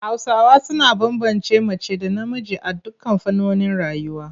Hausawa suna bambance mace da namiji a dukkan fannonin rayuwa.